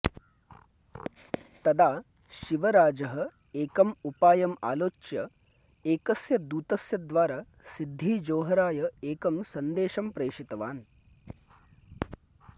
तदा शिवराजः एकम् उपायम् आलोच्य एकस्य दूतस्य द्वारा सिद्दीजोहराय एकं सन्देशं प्रेषितवान्